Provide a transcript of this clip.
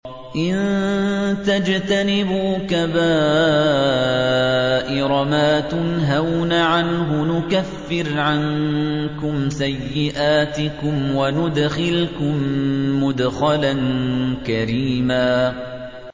إِن تَجْتَنِبُوا كَبَائِرَ مَا تُنْهَوْنَ عَنْهُ نُكَفِّرْ عَنكُمْ سَيِّئَاتِكُمْ وَنُدْخِلْكُم مُّدْخَلًا كَرِيمًا